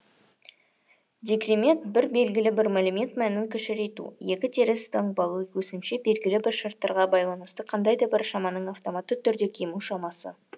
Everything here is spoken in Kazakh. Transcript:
декремент бір белгілі бір мәлімет мәнін кішірейту екі теріс таңбалы өсімше белгілі бір шарттарға байланысты қандай да бір шаманың автоматты түрде кему шамасы